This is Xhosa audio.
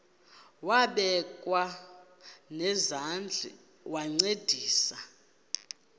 wabekwa nezandls wancedisa